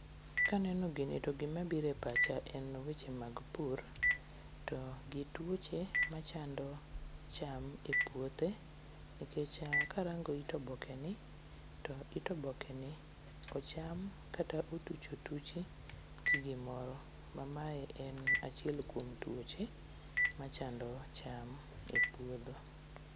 Ka aneno gini to gima biro e pacha en weche mag pur to gi tuoche machando cham epuothe nikech karango it obokeni to it obokeni ocham kata otruch otuchi gi gimoro mamae en achiel kuom tuoche ma chando cham epuodho.